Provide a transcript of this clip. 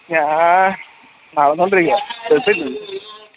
ഞാ നടന്നോണ്ടിരിക്ക